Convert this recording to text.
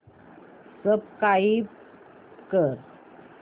subscribe कर